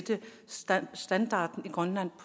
standarden i grønland